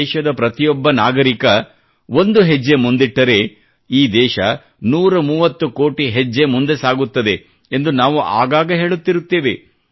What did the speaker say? ದೇಶದ ಪ್ರತಿಯೊಬ್ಬ ನಾಗರಿಕ ಒಂದು ಹೆಜ್ಜೆ ಮುಂದಿಟ್ಟರೆ ಈ ದೇಶ 130 ಕೋಟಿ ಹೆಜ್ಜೆ ಮುಂದೆ ಸಾಗುತ್ತದೆ ಎಂದು ನಾವು ಆಗಾಗ ಹೇಳುತ್ತಿರುತ್ತೇವೆ